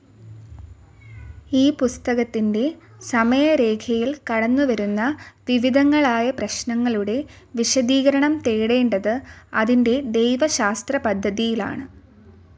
ഈ പുസ്തകത്തിന്റെ സമയരേഖയിൽ കടന്നുവരുന്ന വിവിധങ്ങളായ പ്രശ്നങ്ങളുടെ വിശദീകരണം തേടേണ്ടത് അതിന്റെ ദൈവശാസ്ത്രപദ്ധതിയിലാണ്.